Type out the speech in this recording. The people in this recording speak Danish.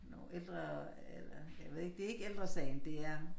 Nogen ældre eller jeg ved ikke det ikke ældresagen det er